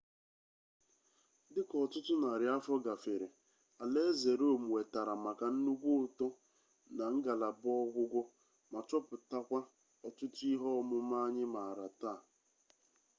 dịka ọtụtụ narị afọ gafere alaeze rom wetara maka nnukwu uto na ngalaba ọgwụgwọ ma chọpụtakwa ọtụtụ ihe ọmụma anyị maara taa